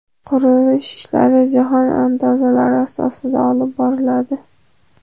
Qurilish ishlari jahon andazalari asosida olib boriladi.